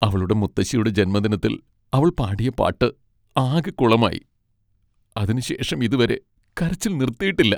അവളുടെ മുത്തശ്ശിയുടെ ജന്മദിനത്തിൽ അവൾ പാടിയ പാട്ട് ആകെ കുളമായി, അതിനുശേഷം ഇതുവരെ കരച്ചിൽ നിർത്തിയിട്ടില്ല.